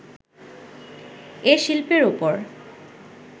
এ শিল্পের ওপর